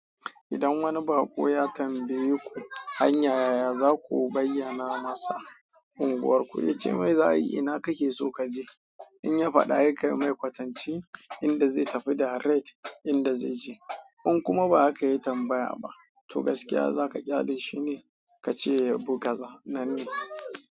Idan wani baƙo ya tambaye ku hanya yaya za ku bayyana masa in unguwar ku. Ne cemai za'ai ina kake so kaje in ya faɗa he kai mai kwatanci, inda zai tafi daret inda zai je. In kuma ba haka ya tambaya ba, to gaskiya za ka ƙyale shi ne ka ce Bugaza nan ne.